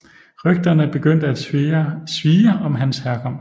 Rygterne begyndte at svirre om hans herkomst